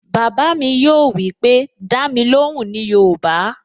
Bàbá mi yóò wípé, "Dá mi lóhùn ní yoòbá"